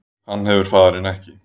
Hann hefur faðirinn ekki